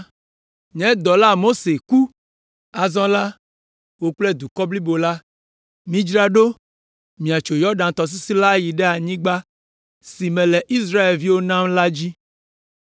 “Nye dɔla, Mose ku. Azɔ la wò kple dukɔ blibo la, midzra ɖo miatso Yɔdan tɔsisi la ayi ɖe anyigba si mele Israelviwo nam la dzi.